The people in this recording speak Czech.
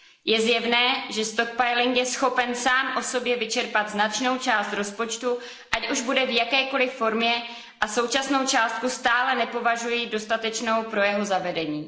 Je zjevné, že stockpiling je schopen sám o sobě vyčerpat značnou část rozpočtu, ať už bude v jakékoliv formě, a současnou částku stále nepovažuji za dostatečnou pro jeho zavedení.